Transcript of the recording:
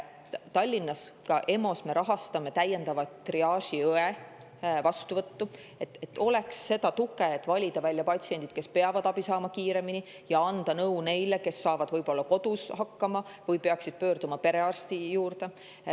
Tallinnas me rahastame EMO-s täiendava triaažiõe vastuvõttu, et oleks tuge välja valida patsiente, kes peavad abi saama kiiremini, ja anda nõu neile, kes saavad kodus hakkama või peaksid pöörduma perearsti juurde.